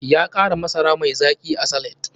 Ya kara masara mai zaki a salad.